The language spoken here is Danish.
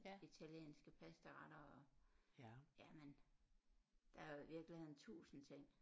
Italienske pastaretter og jamen der er i virkeligheden tusind ting